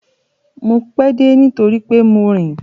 Mo pẹ́ dé nítorí pé mo rìn.